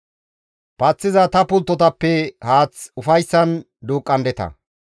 Paththiza ta pulttotappe haath ufayssan duuqqandeta.